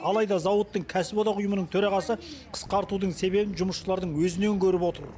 алайда зауыттың кәсіподақ ұйымының төрағасы қысқартудың себебін жұмысшылардың өзінен көріп отыр